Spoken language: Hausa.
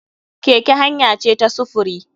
Keke hanya ce ta sufuri.